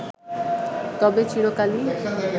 তবে চিরকালই